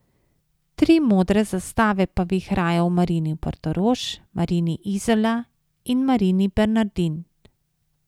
Tri modre zastave pa vihrajo v Marini Portorož, Marini Izola in Marini Bernardin.